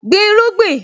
Gbin irúgbìn!